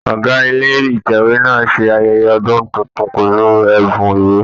Ọgá ilé Ìtẹ̀wé náà ń ṣe ayẹyẹ ọdún tuntun pẹ̀lú ẹ̀bùn ìwé.